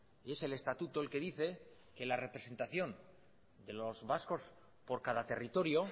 y es el estatuto el que dice que la representación de los vascos por cada territorio